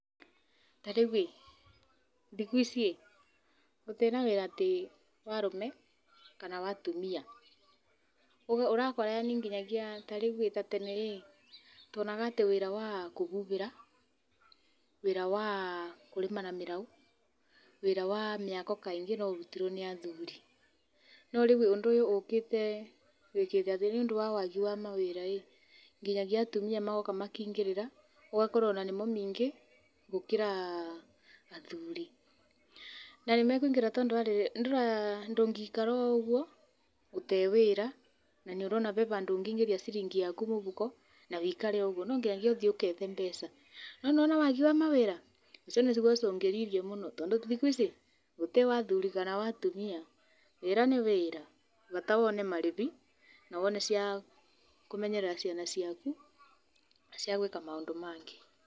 Tarĩu ĩ thikũ ici ĩ gũtirĩ na wĩra wa arũme kana wa atumia, ũrakora nginyagia ta rĩu ta tene rĩ tuonaga atĩ wĩra wa kũhuhĩra, wĩra wa kũrĩma na mĩraũ, wĩra wa mĩako kaingĩ no ũrutirwo nĩ athuri. No rĩu rĩ ũndũ ũyũ ũkĩte wĩkĩte atĩ nĩũndũ wa waagi wa mawĩra nginyagia atumia magĩũka makĩingĩrĩra, ũgakora nginya nĩo aingĩ gũkĩra athuri. Na nĩmakũingĩrĩra tondu wa rĩrĩ ndũngĩikara o ũguo ũtarĩ wĩra na nĩ ũrona hee handũ ũngĩingĩria ciringi yaku mũhuko na wũikare ũguo no nginya ũthiĩ ũgethe mbeca, no nĩ wona waagi wa mawĩra ũcio nĩ ũcũngĩrĩiirie mũno tondũ thikũ ici gũtirĩ wa athuri kana wa atumia . Wĩra nĩ wĩra bata nĩ wone marĩhi na wone cia kũmenyerera ciana ciaku na gwĩka maũndũ mangĩ.